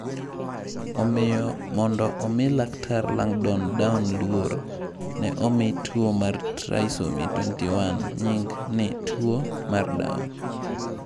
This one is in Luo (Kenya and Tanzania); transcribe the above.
Omiyo mondo omi Laktar Langdon Down luor, ne omi tuwo mar Trisomy 21 nying ni tuwo mar Down.